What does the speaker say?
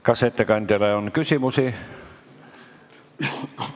Kas ettekandjale on küsimusi?